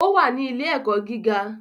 O wá ní ile-ẹkọ gíga